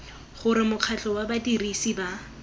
gore mokgatlho wa badirisi ba